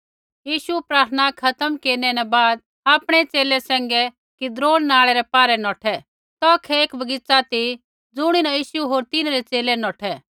यीशु प्रार्थना खत्म केरनै न बाद आपणै च़ेले सैंघै किद्नोन नालै रै पारै नौठै तौखै एक बगीच़ा ती ज़ुणीन यीशु होर तिन्हरै च़ेले नौठै